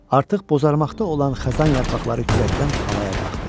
Artıq bozarmaqda olan xəzan yarpaqları küləkdən havaya qalxdı.